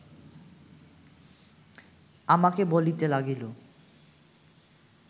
আমাকে বলিতে লাগিল